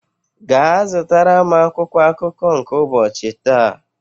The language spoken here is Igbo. gaa zụtara m akwụkwọ akụkọ nke ụbọchi taa!